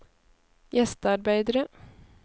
gjestearbeidere